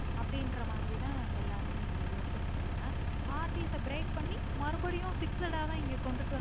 அப்புடின்ற மாதிரி தா எல்லாருமே இங்க use பண்ணிக்கறாங்க RDbreak அ பண்ணி மறுபடியும் fixed ஆ கொண்டது வந்து